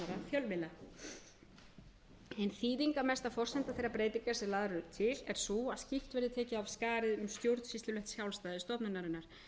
fjölmiðla ein þýðingarmesta forsenda þeirra breytinga sem lagðar eru til er sú að skýrt verði tekið af skarið um stjórnsýslulegt sjálfstæði stofnunarinnar